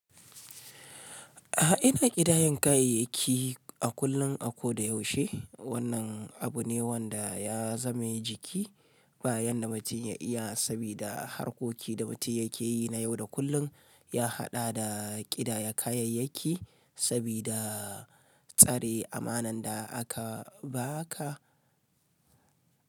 A ina ƙidayan kayayyaki a kullum a ko da yaushe? Wannan abu ne wanda ya zame jiki bayan da mutum ya iya, sabida harkoki da mutum yake yi na yau da kullum ya haɗa da ƙidaya kayayyaki sabida tsare amanar da aka ba ka.